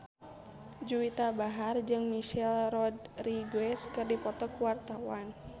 Juwita Bahar jeung Michelle Rodriguez keur dipoto ku wartawan